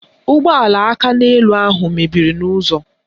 Ụgbọala akaneelu ahụ mebiri n'ụzọ